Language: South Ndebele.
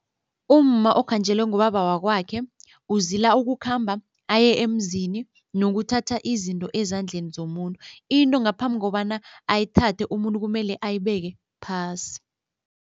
Umma okhanjelwe ngubaba wakwakhe uzila ukukhamba aye emzini nokuthatha izinto ezandleni zomuntu. Into ngaphambi kobana ayithathe, umuntu kumele ayibeke phasi.